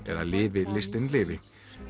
eða lifi listin lifi